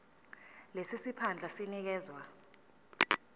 lesi siphandla sinikezwa